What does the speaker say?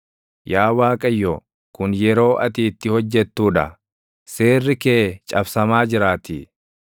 Yaa Waaqayyo, kun yeroo ati itti hojjettuu dha; seerri kee cabsamaa jiraatii.